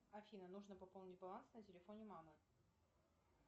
афина нужно пополнить баланс на телефоне мамы